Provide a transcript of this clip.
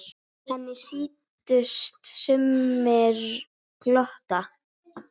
Henni sýndust sumir glotta.